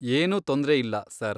ಏನೂ ತೊಂದ್ರೆ ಇಲ್ಲ, ಸರ್.